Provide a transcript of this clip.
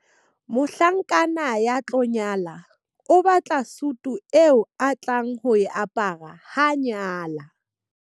Mohlankana ya tlo nyala o batla sutu eo a tlang ho e apara ha a nyala.